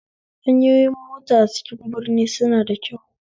Hanyoyin mota a cikin birni suna da kyau